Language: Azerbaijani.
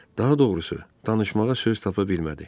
Daha doğrusu, danışmağa söz tapa bilmədi.